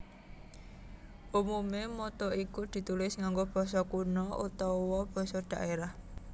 Umume motto iku ditulis nganggo basa kuna utawa basa dhaerah